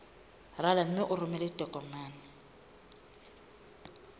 rala mme o romele ditokomene